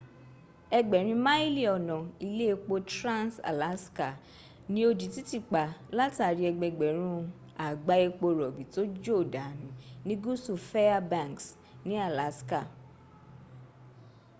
ẹgbẹ̀rin máìlì ọ̀nà ilé epo trans-alaska ni ó di títì pa látàrí ẹgbẹgbẹ̀rún àgbá epo rọ̀bì to jò dànaù ni gúsù fairbanks ni alaska